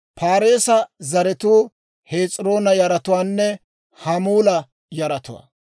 Paareesa zaratuu Hes'iroona yaratuwaanne Hamuula yaratuwaa.